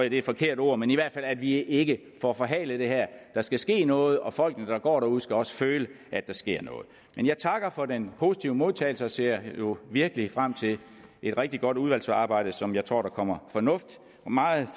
et forkert ord men i hvert fald at vi ikke får forhalet det her der skal ske noget og folkene der går derude skal også føle at der sker noget men jeg takker for den positive modtagelse og ser virkelig frem til et rigtig godt udvalgsarbejde som jeg tror der kommer noget meget